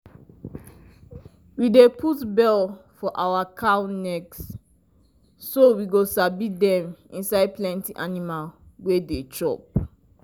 we dey put bell for our cow neck so we go sabi dem inside plenty animal wey dey chop.